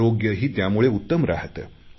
आरोग्यही त्यामुळे उत्तम राहाते